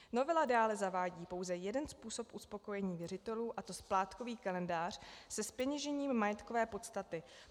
Novela dále zavádí pouze jeden způsob uspokojení věřitelů, a to splátkový kalendář se zpeněžením majetkové podstaty.